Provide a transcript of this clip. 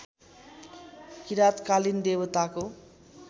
किराँतकालीन देवताको